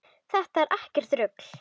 Þetta er ekkert rugl.